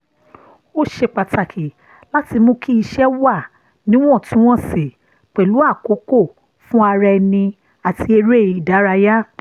ó ṣe pàtàkì láti mú kí iṣẹ́ wà níwọ̀ntúnwọ̀nsì pẹ̀lú àkókò fún ara ẹni àti eré ìdárayá